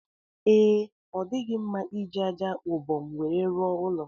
Ee, ọ dighị mma iji aja ubom nwere rụọ ụlọ